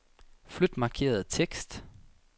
Flyt markerede tekst.